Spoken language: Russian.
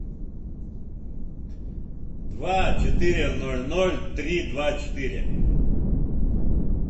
два четыре ноль ноль три два четыре